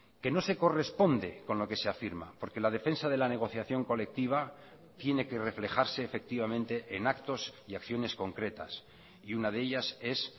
que no se corresponde con lo que se afirma porque la defensa de la negociación colectiva tiene que reflejarse efectivamente en actos y acciones concretas y una de ellas es